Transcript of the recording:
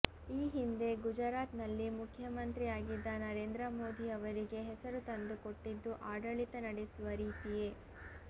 ಈ ಹಿಂದೆ ಗುಜರಾತ್ ನಲ್ಲಿ ಮುಖ್ಯಮಂತ್ರಿ ಆಗಿದ್ದ ನರೇಂದ್ರ ಮೋದಿ ಅವರಿಗೆ ಹೆಸರು ತಂದುಕೊಟ್ಟಿದ್ದು ಆಡಳಿತ ನಡೆಸುವ ರೀತಿಯೇ